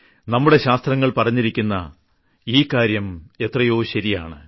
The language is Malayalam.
നമ്മുടെ ശാസ്ത്രങ്ങൾ പറഞ്ഞിരിക്കുന്ന ഈ കാര്യം എത്രയോ ശരിയാണ്